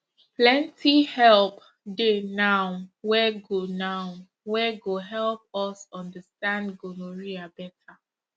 plenty help dey now wey go now wey go help us understand gonorrhea better